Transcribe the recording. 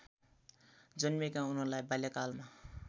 जन्मिएका उनलाई बाल्यकालमा